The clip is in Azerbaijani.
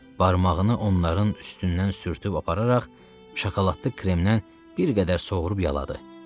Barmağını onların üstündən sürtüb apararaq şokoladlı kremdən bir qədər sovurub yaladı.